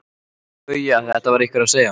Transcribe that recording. BAUJA: Þetta var einhver að segja.